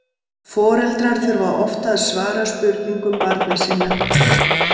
Foreldrar þurfa oft að svara spurningum barna sinna.